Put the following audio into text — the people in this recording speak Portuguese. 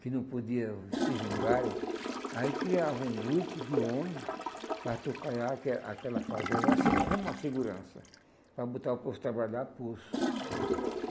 que não podiam se vingarem, aí criavam um grupo de homem para aque aquela fazenda, uma se, como uma segurança, para botar o povo a trabalhar a pulso.